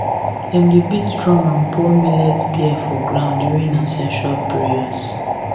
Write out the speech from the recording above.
dem dey beat drum and pour millet beer for ground during ancestral prayers